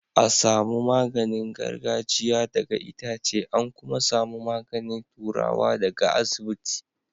a samu magani gargajia daga Itace an ku ma samu magani turawa da ga iasibiti